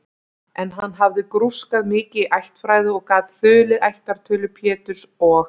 En hann hafði grúskað mikið í ættfræði og gat þulið ættartölu Péturs og